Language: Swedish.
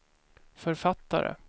författare